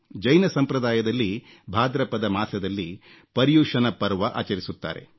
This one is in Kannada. ಜೈನ ಸಂಪ್ರದಾಯದಲ್ಲಿ ಭಾದ್ರಪದ ಮಾಸದಲ್ಲಿ ಪರ್ಯುಶನ ಪರ್ವ ಆಚರಿಸುತ್ತಾರೆ